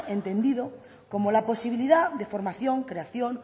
entendido como la posibilidad de formación creación